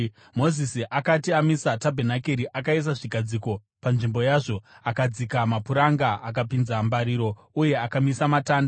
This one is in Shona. Mozisi akati amisa tabhenakeri, akaisa zvigadziko panzvimbo yazvo, akadzika mapuranga, akapinza mbariro uye akamisa matanda.